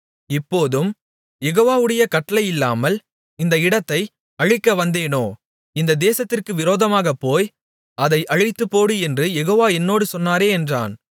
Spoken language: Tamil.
இப்போதும் யெகோவாவுடைய கட்டளையில்லாமல் இந்த இடத்தை அழிக்கவந்தேனோ இந்த தேசத்திற்கு விரோதமாகப் போய் அதை அழித்துப்போடு என்று யெகோவா என்னோடே சொன்னாரே என்றான்